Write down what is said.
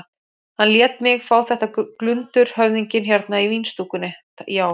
Hann lét mig fá þetta glundur höfðinginn hérna í vínstúkunni, já.